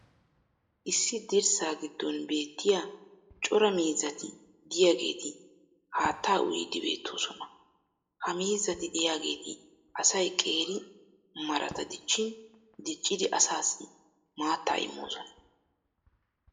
issi dirssaa giddon beettiya cora miizzati diyaageeti haattaa uyiidi beetoosona. ha miizzati diyaageeti asay qeeri marata dichchin diccidi asaassi maattaa immoosona.